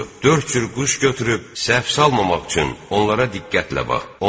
Dörd cür quş götürüb səhv salmamaq üçün onlara diqqətlə bax.